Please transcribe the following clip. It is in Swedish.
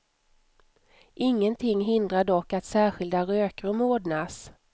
Ingenting hindrar dock att särskilda rökrum ordnas.